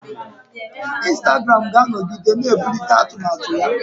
Instagram ga-anọgide na-ebulite atụmatụ ya.